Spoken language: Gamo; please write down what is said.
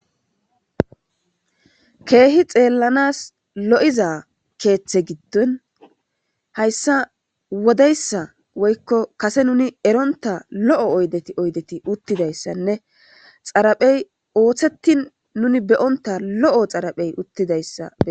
Keehi xeellanas lo'iza keeththe giddon hayssa wodeyssa woykko kase nuni eronta lo'o oydeti oydeti uttidayssanne xaraphey ooththeti nuni beyonta lo'o xaraphey uttidayssa bee'as